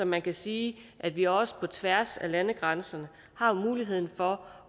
man kan sige at vi også på tværs af landegrænser har muligheden for